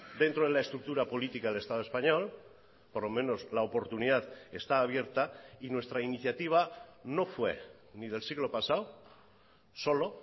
dentro de la estructura política del estado español por lo menos la oportunidad está abierta y nuestra iniciativa no fue ni del siglo pasado solo